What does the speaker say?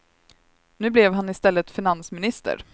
Nu blev han i stället finansminister.